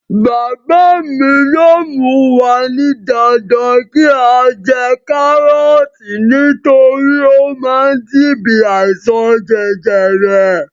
Bàbá mi yóò mú wa ní dandan kí á jẹ kárọ̀ọ̀tì nítorí ó má ń dín bí àìsàn jẹjẹrẹ.